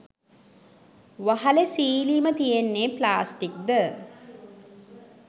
වහලෙ සීලිම තියන්නෙ ප්ලාස්ටික්ද.